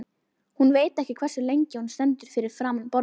Hún veit ekki hversu lengi hún stendur fyrir framan borðið.